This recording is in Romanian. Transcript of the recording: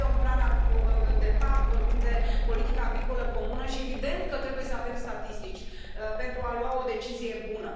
Vorbim de PAC, vorbim de politica agricolă comună și este evident că trebuie să avem statistici, pentru a lua o decizie bună.